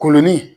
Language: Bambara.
Kolon ni